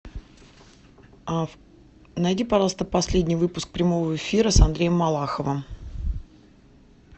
найди пожалуйста последний выпуск прямого эфира с андреем малаховым